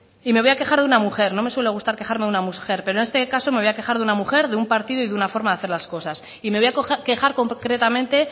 y me voy a quejar de una mujer no me suele gustar quejarme de una mujer pero en este caso me voy a quejar de una mujer de un partido y de una forma de hacer las cosas y me voy a quejar concretamente